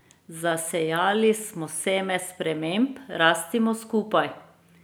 Zasejali smo seme sprememb, rastimo skupaj!